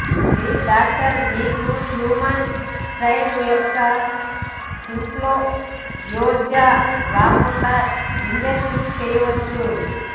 మీ doctor మీకు human strain యొక్క influenza రాకుండా ఇంజెక్షన్ చేయవచ్చు